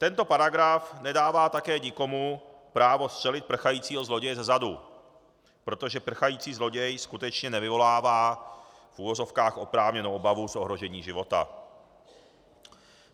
Tento paragraf nedává také nikomu právo střelit prchajícího zloděje zezadu, protože prchající zloděj skutečně nevyvolává v uvozovkách oprávněnou obavu z ohrožení života.